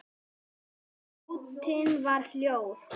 Og nóttin var hljóð.